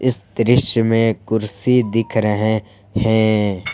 इस दृश्य में कुर्सी दिख रहे हैं।